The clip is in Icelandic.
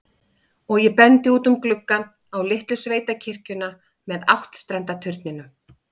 Og ég bendi út um gluggann, á litlu sveitakirkjuna með áttstrenda turninum.